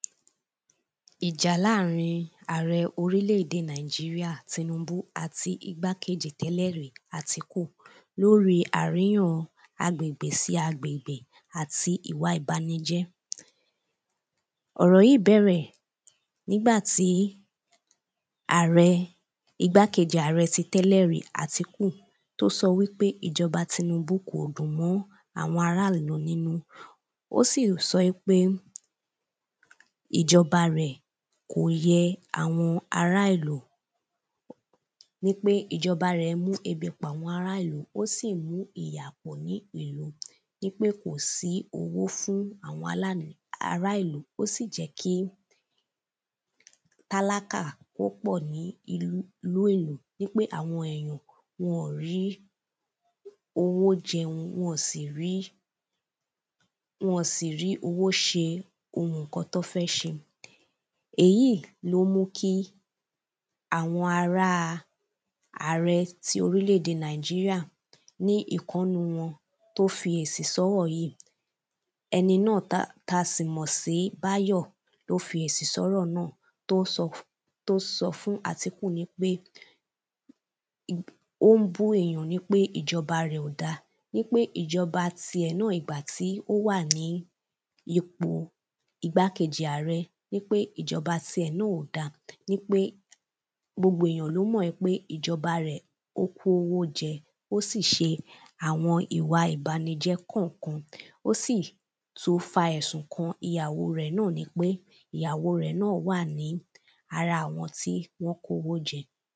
ìjà láàrín ààrẹ orílẹ̀de nàìjíríà tinúbú àti ìgbà kejì tẹ́lẹ̀rí àtíkù lóri àríyàn agbègbè sí agbègbè áti ìwa ìbanijẹ́ ọ̀rọ̀ yìí bẹ̀rẹ̀ nígbà tí àárẹ ìgbà kejì ààrẹ ti tẹ́lẹ̀rí àtíkù tó sọ wípé ìjọ̀ba tinúbú kò dùn mọ́ àwọn ará ìlú nínú ó sì sọ ípé ìjọ̀ba rẹ̀ kò yẹ àwọn ará ìlú ní pé ìjọba rẹ̀ mú ebi pa àwọn ará ìlú, ó sì mu ìyà pọ̀ ní ìlú nípé kò sí owó fún àwọn alání ará ìlú ó sì jẹ́ kí tálákà kó pọ̀ ní ilú inú ìlú nípé àwọn èyàn wọn ọ̀n rí owó jẹun, wọn ọ̀n sì rí wọn ọ̀n sì rí owó ṣe ohun ǹkan tọ́n fẹ́ ṣe èyí ló mú kí àwọn ará àarẹ ti orílẹ̀de nàìjíríà ní ìkan ń nú wọn tó fi èsì sọ́rọ̀ yìí ẹni náà táa táa sì mọ̀ sí báyò ló fi èsì sọ́rọ̀ náà, tóó sọ tóó sọ fún àtíkù nípé ó ń bú èyàn nípé ìjọba rẹ̀ ò dáa nípé ìjọba ti ẹ̀ náà nígbà tí ó wà ní ipò ìgbà kejì ààrẹ, nípé ìjọba ti ẹ̀ náà ò da nípé gbogbo ènìyàn ló mọ̀ í pé ìjọba rẹ̀, ó kó owó jẹ, ó sì ṣe àwọn ìbanijẹ́ kànkan ó sì tún fa ẹ̀sùn kan ìyàwó rẹ̀ náà nípé ìyàwó náà wà ní ara àwọn tí wọn kówó jẹ.